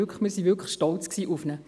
Wir waren wirklich stolz auf ihn.